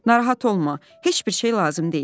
“Narahat olma, heç bir şey lazım deyil.”